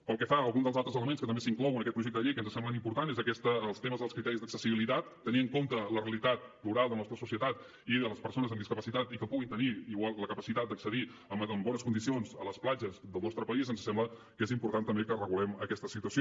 pel que fa a algun dels altres elements que també s’inclou en aquest projecte de llei que ens semblen importants és els temes dels criteris d’accessibilitat tenint en compte la realitat plural de la nostra societat i de les persones amb discapacitat i que puguin tenir la capacitat d’accedir en bones condicions a les platges del nostre país ens sembla que és important també que regulem aquesta situació